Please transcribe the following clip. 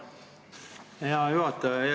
Aitäh, hea juhataja!